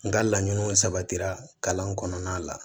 N ka laɲiniw sabatira kalan kɔnɔna la